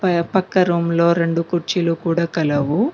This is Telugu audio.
పక్క రూమ్ లో రెండు కుర్చీలు కూడా కలవు.